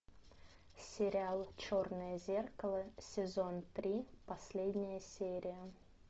сериал черное зеркало сезон три последняя серия